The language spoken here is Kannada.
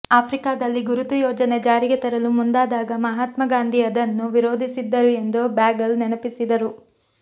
ಆಫ್ರಿಕಾದಲ್ಲಿ ಗುರುತು ಯೋಜನೆ ಜಾರಿಗೆ ತರಲು ಮುಂದಾದಾಗ ಮಹಾತ್ಮಾ ಗಾಂಧಿ ಅದನ್ನು ವಿರೋಧಿಸಿದ್ದರು ಎಂದು ಬಾಗೆಲ್ ನೆನಪಿಸಿದರು